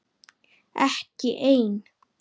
Ekki ein?